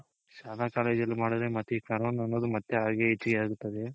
ಶಾಲಾ college ಅಲ್ಲಿ ಮಾಡಿದ್ರೆ ಮತ್ತೆ ಈ corona ಅನ್ನೋದು ಮತ್ತೆ ಹಾಗೆ ಹೆಚ್ಚಿಗೆ ಆಗುತ್ತದೆ.